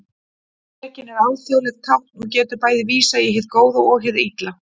Drekinn er alþjóðlegt tákn og getur bæði vísað í hið góða og hið illa.